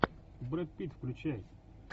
брэд питт включай